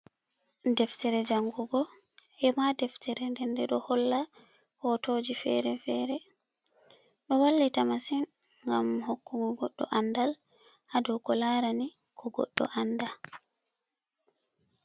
Deftere jangugo hema deftere dende ɗo holla hotoji fere-fere do vallita masin gam hokkugo goɗɗo andal hado ko larani ko goɗɗo Anda.